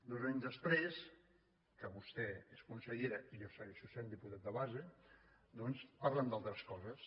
dos anys després que vostè és consellera i jo segueixo sent diputat de base doncs parlem d’altres coses